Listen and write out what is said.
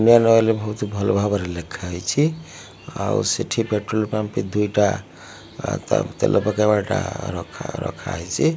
Indian Oil ବହୁତ ଭଲ ଭାବରେ ଲେଖା ହେଇଛି ଆଉ ସେଠି ପେଟ୍ରୋଲ ପମ୍ପ ବି ଦୁଇଟା ତେ ତେଲ ପକେଇବାଟା ରଖା ରଖା ହେଇଚି।